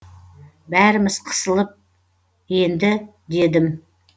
бәріміз қысылып енді дедім